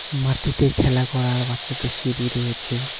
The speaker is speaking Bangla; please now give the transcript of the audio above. মাটিতে খেলা করার বাচ্চাদের সিঁড়ি রয়েছে।